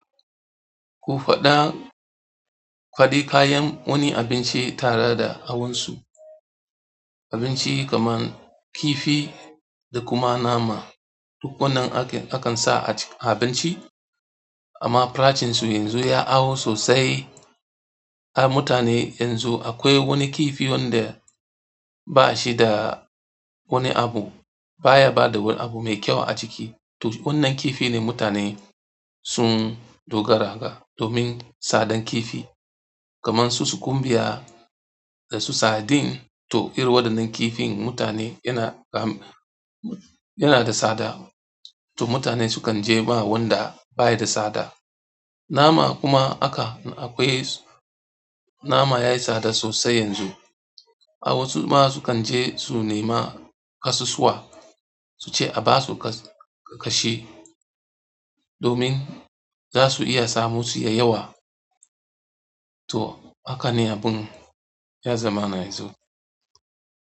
Ku faɗa kuɗin kayan wani abinci tare da awonsu. Abincin kamar kifi da kuma nama wanda akansa a abinci amma farashinsu yanzu ya hawo sosai. A mutane yanzu akwai wani kifi wanda ba shi da wani abu baya bada wani abu mai kyau a ciki. To wannan kifi ne mutane sun dogara ga domin tsadar kifi kamar su sukun biya dasu sadin to irin waɗannan kifin mutane yana, yana da tsada. To mutane sukan je ma wanda baya da tsada. Nama kuma aka akwai nama yayi sada sosai yanzu. A wasu ma sukan je su nema ƙasusuwa su ce a basu kashi domin za su iya samo su da yawa. To haka ne abun ya zama na yanzu.